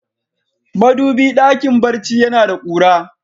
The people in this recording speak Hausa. Madubi dakin barci ya na da kura.